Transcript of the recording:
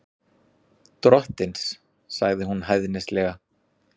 Drottins, sagði hún hæðnislega.